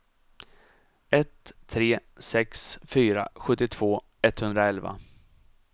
ett tre sex fyra sjuttiotvå etthundraelva